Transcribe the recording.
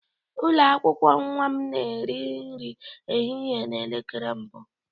Ụlọ akwụkwọ nwa m na-eri nri ehihie na elekere mbụ